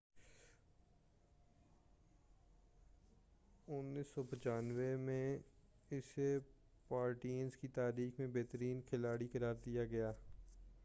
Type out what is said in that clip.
1995ء میں اسے پارٹیزن کی تاریخ میں بہترین کھلاڑی قرار دیا گیا